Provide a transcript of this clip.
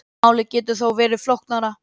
Málið getur þó verið flóknara.